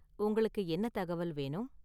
உங்களுக்கு என்ன தகவல் வேணும்?